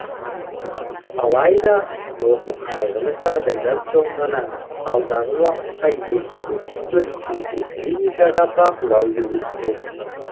алайда осы қайғылы жағдайдан соң ғана алдағы уақытта елдегі бүкіл жеке клиникаға бақылау жүргізілмек